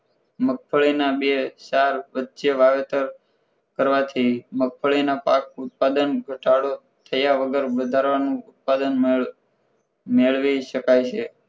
મગફળીના બે ચાર વચ્ચે વાવેતર કરવાથી મગફળીના પાક ઉત્પાદન ઘટાડો થયા વગર વધારવાનું ઉત્પાદન મેળ મેળવી શકાય છે